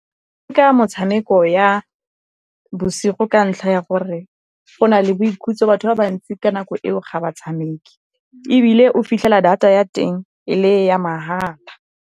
Ka motshameko ya bosigo ka ntlha ya gore go na le boikhutso, batho ba bantsi ka nako eo ga ba tshameke. Ebile o fitlhela data ya teng e le ya mahala.